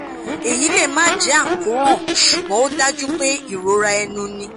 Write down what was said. eyi le ma je akoran sugbon o daju pe irora enu ni